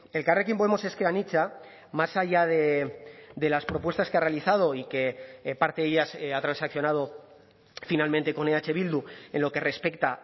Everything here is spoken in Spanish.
elkarrekin podemos ezker anitza más allá de las propuestas que ha realizado y que parte de ellas ha transaccionado finalmente con eh bildu en lo que respecta